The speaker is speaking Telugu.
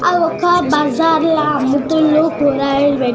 ఆ ఒక్క బజార్ ల అమ్ముతుండు కూరగాయలు పెట్టి --